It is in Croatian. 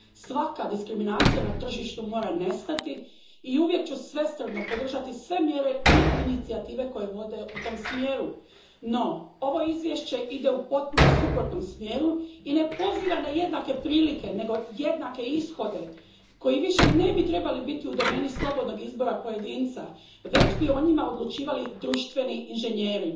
Svaka diskriminacija na tržištu mora nestati i uvijek ću svesrdno podržati sve mjere i inicijative koje vode u tom smjeru. No, ovo Izvješće ide u potpuno suprotnom smjeru i ne poziva na jednake prilike, nego jednake ishode koji više ne bi trebali biti u domeni slobodnog izbora pojedinca, već bi o njima odlučivali društveni inženjeri.